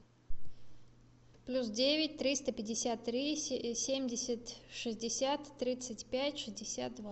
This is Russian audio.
плюс девять триста пятьдесят три семьдесят шестьдесят тридцать пять шестьдесят два